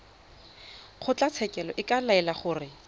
kgotlatshekelo e ka laela gore